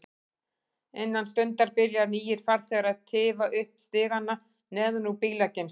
Innan stundar byrja nýir farþegar að tifa upp stigana neðan úr bílageymslunni.